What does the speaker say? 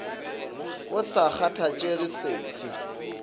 go sa kgathatšege se fe